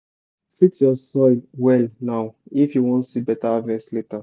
treat your soil well now if you wan see better harvest later.